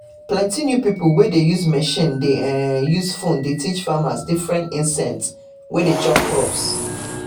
plenty new pipo wey dey use machine de um use phone de teach farmers different insect wey dey chop crops